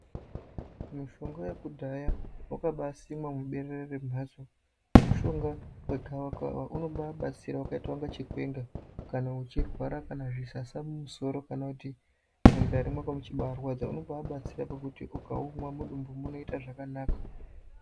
Mushonga wekudhaya wakabasimwa muberere remhatso mushonga wegavakawa unobabatsira wakaita kunga chikwenga, kana uchirwara kana zvisasa mumusoro kana kuti mundani mwako muchibarwadza unobabatsira pakuti ukaumwa mudumbu munoita zvakanaka.